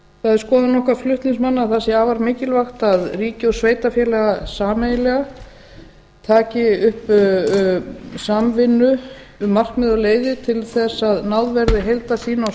það er skoðun okkar flutningsmanna að það sé afar mikilvægt að ríki og sveitarfélög sameiginlega taki upp samvinnu um markmið og leiðir til þess að náð verði heildarsýn á